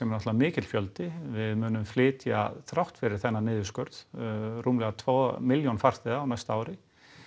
náttúrulega mikill fjöldi við munum flytja þrátt fyrir þennan niðurskurð rúmlega tvær milljónir farþega á næsta ári